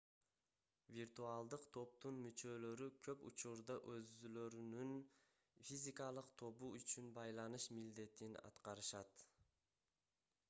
виртуалдык топтун мүчөлөрү көп учурда өзүлөрүнүн физикалык тобу үчүн байланыш милдетин аткарышат